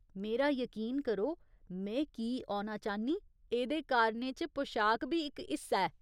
मेरा यकीन करो, में की औना चाह्न्नीं, एह्दे कारणें च पशाक बी इक हिस्सा ऐ।